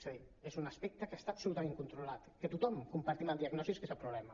és a dir és un aspecte que està absolutament controlat que tothom en compartim la diagnosi que és el problema